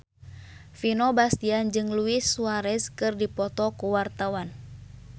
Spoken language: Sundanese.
Vino Bastian jeung Luis Suarez keur dipoto ku wartawan